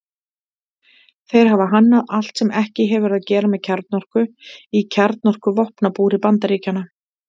Þeir hafa hannað allt sem ekki hefur að gera með kjarnorku í kjarnorkuvopnabúri Bandaríkjanna.